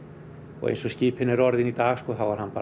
og eins og skipin eru orðin í dag þá er hann